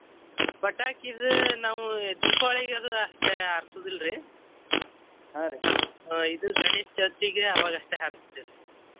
ಪಟಾಕಿದ್ ನಾವು ದೀಪಾವಳಿಗದು ಅಷ್ಟ ಹಾರ್ಸುದಿಲ್ರಿ ಇದು ಗಣೇಶ ಚೌತಿಗೆ ಆವಾಗ ಅಷ್ಟೆ ಹಾರಿಸ್ತಿವ್ರಿ.